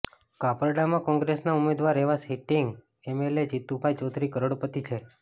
કપરાડામાં કોંગ્રેસના ઉમેદવાર એવા સીટિંગ એમએલએ જીતુભાઇ ચૌધરી કરોડપતિ છે